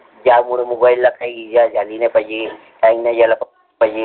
ज्यामुळे आता mobile इजा नाही झाला पाहिजे. time नाही नाही झाला पाहिजे.